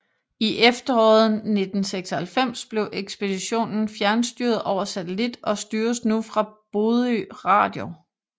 I efteråret 1996 blev ekspeditionen fjernstyret over satellit og styres nu fra Bodø Radio